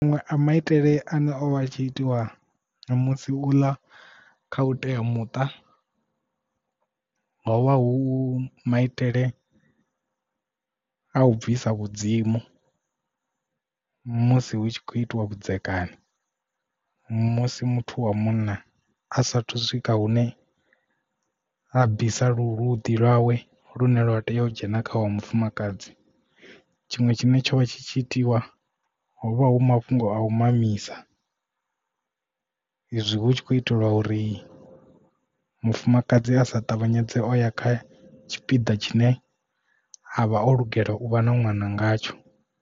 Manwe a maitele ane o vha tshi itiwa musi u ḽa kha u tea muṱa ho vha hu maitele a u bvisa vhudzimu musi hu tshi khou itiwa vhudzekani musi muthu wa munna a saathu u swika hune a bvisa luḓi lwawe lune lwa tea u dzhena kha wa mufumakadzi tshiṅwe tshine tsha vha tshi tshi itiwa hovha hu mafhungo a u mamisa izwi hu tshi kho itelwa uri mufumakadzi a sa ṱavhanyedze o ya kha tshipiḓa tshine havha o lugela u vha na ṅwana ngatsho.